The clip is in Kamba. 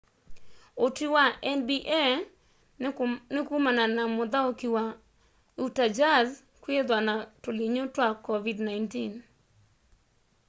utwi wa nba ní kumana na muthauki wa utah jazz kwithwa na tulinyu twa covid-19